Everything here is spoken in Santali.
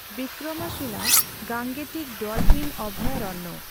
Vikramshila Gangetic dolphin ᱟᱵᱷᱟᱭᱟᱨᱚᱬᱭ.